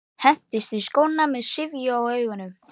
Hendist í skóna með syfju í augunum.